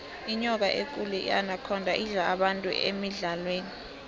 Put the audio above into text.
inyoka ekulu inakhonda idla abantu emidlalweni